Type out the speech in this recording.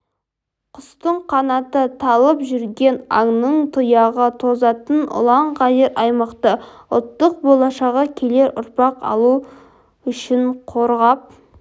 құстың қанаты талып жүгірген аңның тұяғы тозатын ұлан-ғайыр аймақты ұлттың болашағы келер ұрпақ үшін қорғап